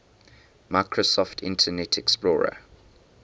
microsoft internet explorer